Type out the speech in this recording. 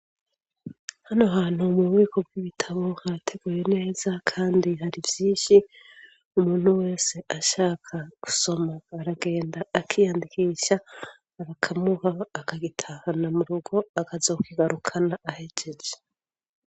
Hano hantu mububiko bw'ibitabo hateguye neza kandi hari vyinshi umuntu wese ashaka gusoma aragenda akiyandikisha bakamuha akagitahana mu rugo akazokigarukana ahejeje.